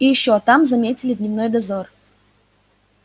и ещё там заметили дневной дозор